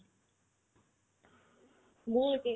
মোৰো একে